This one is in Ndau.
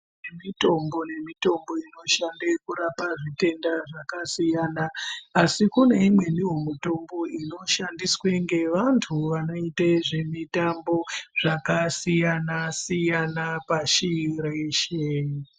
Kune mitombo nemitombo inoshande kurapa zvitenda zvakasiyana asi kune imweni wo mitombo inoshandiswe ngevantu vanoita zvemutambo zvakasiyana siyana pashi reshe.